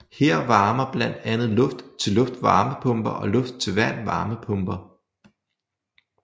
Her varmer blandt andet luft til luft varmepumper og luft til vand varmepumper